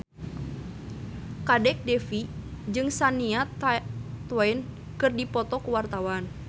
Kadek Devi jeung Shania Twain keur dipoto ku wartawan